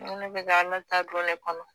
ko ne bɛ se ka Ala ta don ne kɔnɔ